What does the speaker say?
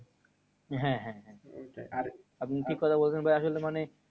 হ্যাঁ হ্যাঁ হ্যাঁ আপনি ঠিক কোথাই বলেছেন ভাইয়া আসলে মানে